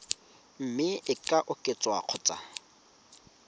mme e ka oketswa kgotsa